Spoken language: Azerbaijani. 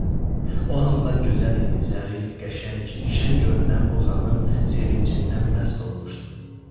O hamıdan gözəl idi, zərif, qəşəng, şəng görünən bu xanım sevincindən məst olmuşdu.